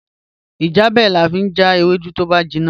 Ijebẹ̀ lán fi jà èwèdú tó bá jínna